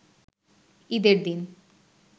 ঈদের দিন